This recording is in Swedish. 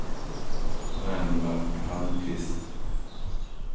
Ragnvald Palmqvist